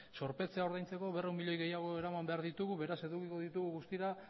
zorpetzea ordaintzeko berrehun milioi gehiago eraman behar ditugu beraz edukiko ditugu guztira